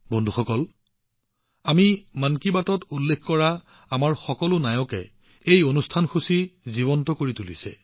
বন্ধুসকল আমি মন কী বাতত উল্লেখ কৰা লোকসকল হৈছে আমাৰ দেশৰ নায়ক যিয়ে এই কাৰ্যসূচীটো সজীৱ কৰি তুলিছে